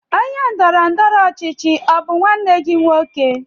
Onye ndọrọ ndọrọ ọchịchị ọ bụ nwanne gị nwoke?